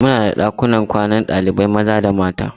Muna da ɗakunan kwanan ɗalibai maza da mata.